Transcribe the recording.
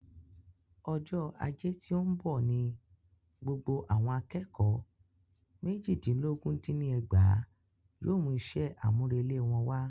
Ọjọ́ ajé tí óún bọ̀ ni gbogbo àwọn akẹ́kọ̀ọ́ méjìdínlógún dín ní ẹgbàá yóò mú iṣẹ́ àmúrelé wọn wá.